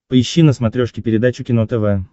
поищи на смотрешке передачу кино тв